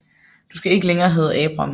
Du skal ikke længere hedde Abram